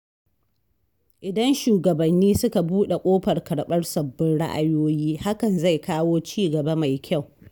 Idan shugabanni suka buɗe ƙofar karɓar sabbin ra’ayoyi, hakan zai kawo ci gaba mai kyau.